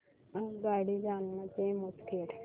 आगगाडी जालना ते मुदखेड